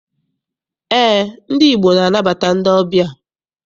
Eé, ndị Igbo na- anabata ndị ọbịa.